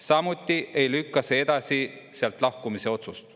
Samuti ei lükka see edasi sealt lahkumise otsust.